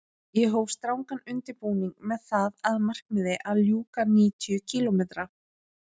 Ég hóf strangan undirbúning með það að markmiði að ljúka níutíu kílómetra